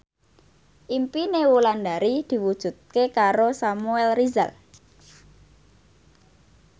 impine Wulandari diwujudke karo Samuel Rizal